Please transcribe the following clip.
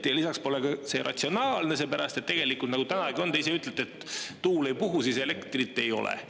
Lisaks pole see ratsionaalne, seepärast, et tegelikult täna on nii, ja te ka ise olete öelnud, et kui tuul ei puhu, siis elektrit ei ole.